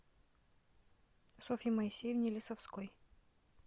софье моисеевне лисовской